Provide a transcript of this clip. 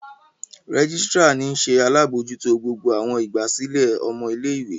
Rẹgisitira ni nṣe alabojuto gbogbo awọn igbasilẹ ọmọ ile-iwe.